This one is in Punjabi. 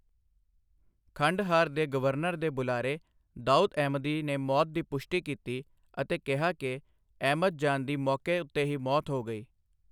ਖੰਡਹਾਰ ਦੇ ਗਵਰਨਰ ਦੇ ਬੁਲਾਰੇ, ਦਾਉਦ ਅਹਿਮਦੀ ਨੇ ਮੌਤ ਦੀ ਪੁਸ਼ਟੀ ਕੀਤੀ ਅਤੇ ਕਿਹਾ ਕਿ ਅਹਿਮਦ ਜਾਨ ਦੀ ਮੌਕੇ ਉੱਤੇ ਹੀ ਮੌਤ ਹੋ ਗਈ।